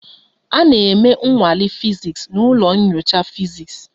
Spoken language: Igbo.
A na-eme nnwale fiziks n'ụlọ nyocha fiziks